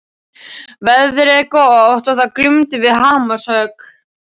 Veðrið var gott og það glumdu við hamarshögg.